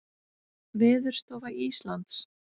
Veðurstofa Íslands.